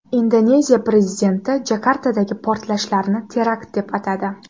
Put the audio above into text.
Indoneziya prezidenti Jakartadagi portlashlarni terakt deb atadi.